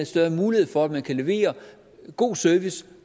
større mulighed for at man kan levere god service